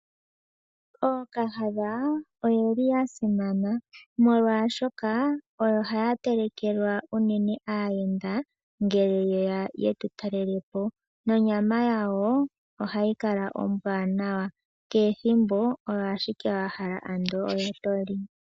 Ookahadha oyeli ya simana molwaashoka oyo haya telekelwa unene aayenda ngele yeya yetu talele po nonyama yawo, ohayi kala ombwaanawa, kehe ethimbo oyo ashike wa hala ando oyo toli.